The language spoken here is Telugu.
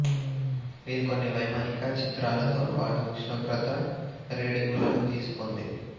ఇది కొన్ని వైమానిక చిత్రాలతో పాటు ఉష్ణోగ్రత రీడింగులను తీసుకుంది